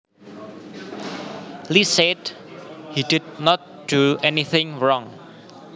Lee said he did not do anything wrong